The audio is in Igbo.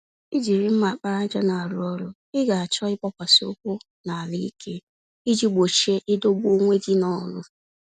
Ijiri mma àkpàràjà n'arụ ọrụ, Ị ga-achọ ịgbasi-ụkwụ-n'ala-ike, iji gbochie idọgbu onwe gị nọlụ